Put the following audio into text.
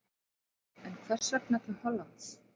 En hvers vegna til Hollands?